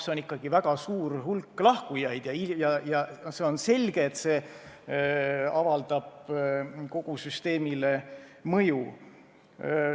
See on ikkagi väga suur hulk ja on selge, et see avaldab kogu süsteemile mõju.